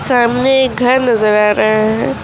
सामने एक घर नजर आ रहा है।